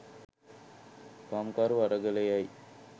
කම්කරු අරගලයයි